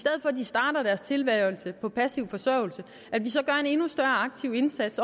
der er tilværelse på passiv forsørgelse gør en endnu større aktiv indsats